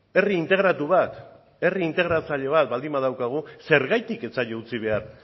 herri integratu bat herri integratzaile bat baldin badaukagu zergatik ez zaio utzi behar